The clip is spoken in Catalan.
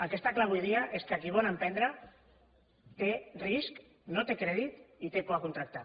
el que està clar avui dia és que qui vol emprendre té risc no té crèdit i té por de contractar